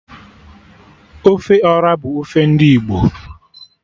Ofe Ọra bụ ofe ndị Igbo